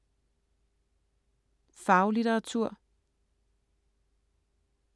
Faglitteratur